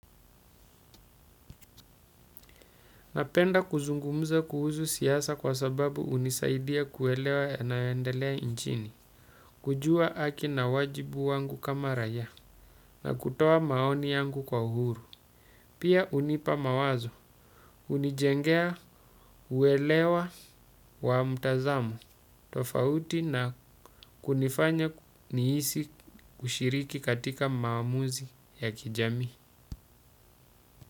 Napenda kuzungumza kuhuzu siasa kwa sababu hunisaidia kuelewa yanayoendelea nchini. Kujua haki na wajibu wangu kama raia na kutoa maoni yangu kwa uhuru. Pia unipa mawazo. Hunijengea uelewa wa mtazamo. Tofauti na kunifanya nihisi kushiriki katika maamuzi ya kijamii.